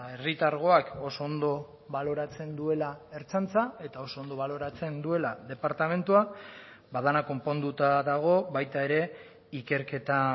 herritargoak oso ondo baloratzen duela ertzaintza eta oso ondo baloratzen duela departamentua ba dena konponduta dago baita ere ikerketa